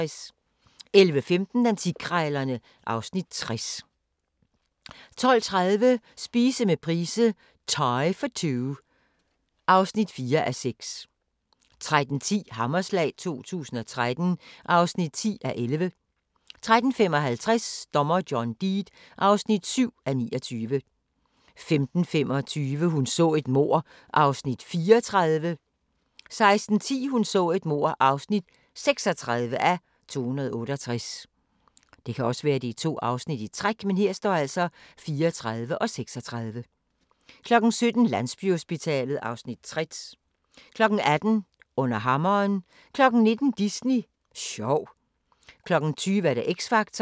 11:15: Antikkrejlerne (Afs. 60) 12:30: Spise med Price - thai for two (4:6) 13:10: Hammerslag 2013 (10:11) 13:55: Dommer John Deed (7:29) 15:25: Hun så et mord (34:268) 16:10: Hun så et mord (36:268) 17:00: Landsbyhospitalet (Afs. 60) 18:00: Under hammeren 19:00: Disney sjov 20:00: X Factor